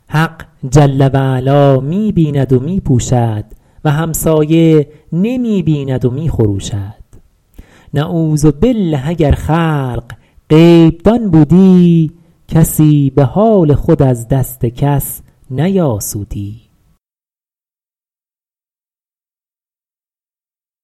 حق جل و علا می بیند و می پوشد و همسایه نمی بیند و می خروشد نعوذبالله اگر خلق غیب دان بودی کسی به حال خود از دست کس نیاسودی